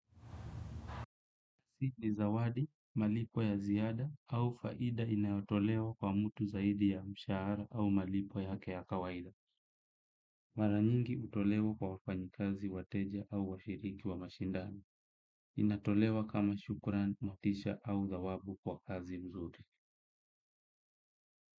Sini zawadi, malipo ya ziada au faida inayotolewa kwa mtu zaidi ya mshahara au malipo yake ya kawaida. Mara nyingi utolewa kwa wafanyikazi, wateja au washiriki wa mashindani. Inatolewa kama shukuran, motisha au thawabu kwa kazi mzuri.